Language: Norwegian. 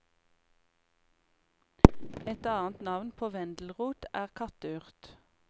Et annet navn på vendelrot er katteurt.